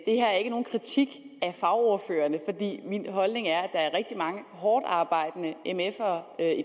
det her er ikke nogen kritik af fagordførerne min holdning er at er rigtig mange hårdtarbejdende mfere